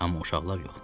Amma uşaqlar yox.